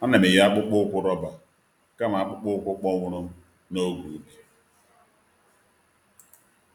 A na'm eyi akpụkpọ ụkwụ roba kama akpụkpọ ụkwụ kpọnwụrụ n’oge ubi.